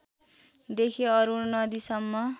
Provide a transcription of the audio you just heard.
देखि अरुण नदीसम्मका